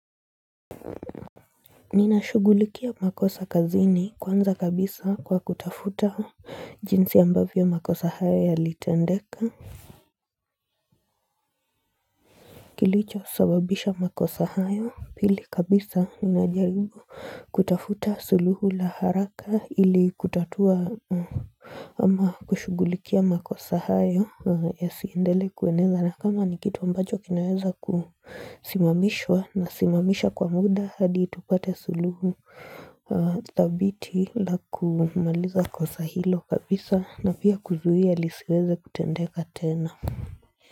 Ninashughulikia makosa kazini kwanza kabisa, kwa kutafuta jinsi ambavyo makosa hayo yalitendeka Kilicho sababisha makosa hayo, pili kabisa ninajaribu kutafuta suluhu la haraka ili kutatua Ama kushughulikia makosa hayo ya siendele kueneza, na kama ni kitu ambacho kinaweza kusimamishwa na simamisha kwa muda hadi tupate suluhu dhabiti la kumaliza kosa hilo kabisa na pia kuzuia lisiweze kutendeka tena.